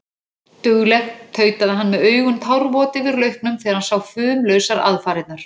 Dugleg, tautaði hann með augun tárvot yfir lauknum þegar hann sá fumlausar aðfarirnar.